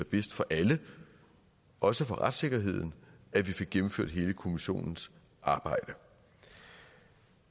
bedst for alle også for retssikkerheden at vi fik gennemført hele kommissionens arbejde